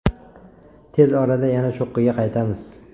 Tez orada yana cho‘qqiga qaytamiz.